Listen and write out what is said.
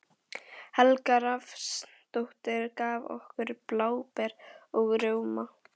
Helga Rafnsdóttir, gaf okkur bláber og rjóma.